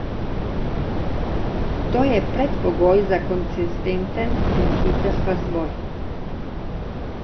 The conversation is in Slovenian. To je predpogoj za konsistenten in hiter razvoj.